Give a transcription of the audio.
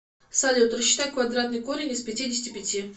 салют рассчитай квадратный корень из пятидесяти пяти